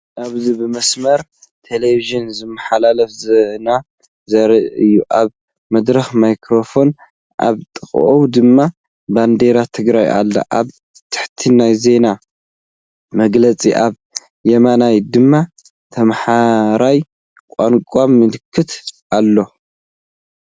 ኣብዚ ብመስመር ቴሌቪዥን ዝመሓላለፍ ዜና ዘርኢ እዩ። ኣብ መድረኽ ማይክሮፎን ኣብ ጥቓኡ ድማ ባንዴራ ትግራይ ኣላ። ኣብ ታሕቲ ናይ ዜና መግለፂ ኣብ የማን ድማ ተማሃራይ ቋንቋ ምልክት ኣሎ።